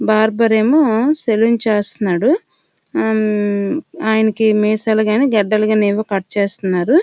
Barber ఏమో salon చేస్తున్నాడు ఆ ఆయనకి మీసాలు కానీ గడ్డాలు కానీ ఏవో కట్ చేస్తున్నాడు.